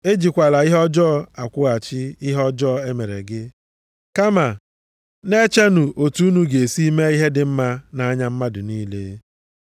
Ejikwala ihe ọjọọ akwụghachi ihe ọjọọ e mere gị. Kama, na-echenụ otu unu ga-esi mee ihe dị mma nʼanya mmadụ niile.